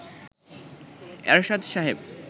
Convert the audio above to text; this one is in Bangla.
এরশাদ সাহেব